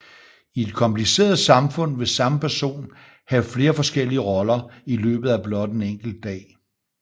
I et kompliceret samfund vil samme person have flere forskellige roller i løbet af blot en enkelt dag